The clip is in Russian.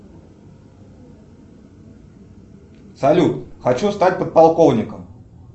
салют хочу стать подполковником